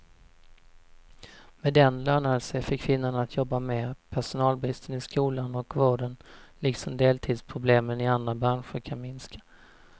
Med den lönar det sig för kvinnorna att jobba mer, personalbristen i skolan och vården liksom deltidsproblemen i andra branscher kan minska.